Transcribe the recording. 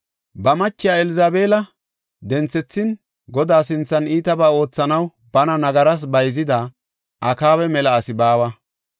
Ba machiya Elzabeela denthethin, Godaa sinthan iitabaa oothanaw bana nagaras bayzida Akaaba mela asi baawa.